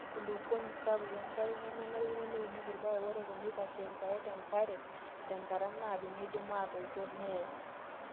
Ore enkulukuoni sapuk enkare nemenarikino neunieki irpaek, ore teneitashe irpaek tenkare tenkataa naado neidim atoito neyee.